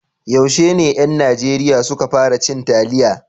Yaushe ne ƴan Najeriya su ka fara cin taliya?